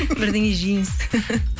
бірдеңе жейміз